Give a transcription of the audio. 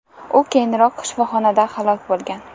U keyinroq shifoxonada halok bo‘lgan.